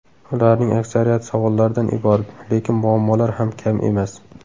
Ularning aksariyati savollardan iborat, lekin muammolar ham kam emas.